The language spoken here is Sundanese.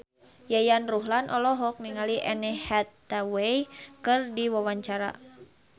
Yayan Ruhlan olohok ningali Anne Hathaway keur diwawancara